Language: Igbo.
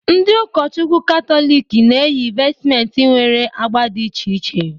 Ndi ụkọchukwu Katọlik na-eyi vestmentị nwere agba dị iche iche